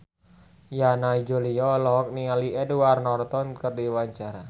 Yana Julio olohok ningali Edward Norton keur diwawancara